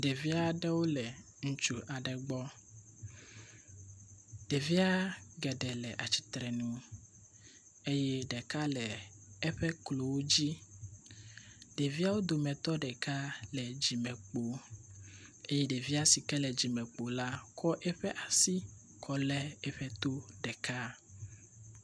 Ɖevia ɖewo le ŋutsu aɖe gbɔ. Ɖevia geɖe le atsitre nu eye ɖeka le eƒe klowo dzi. Ɖeviawo dometɔ ɖeka le dzimekpo eye ɖevia si ke le dzimekpo la kɔ eƒe asi lé eƒe to ɖeka.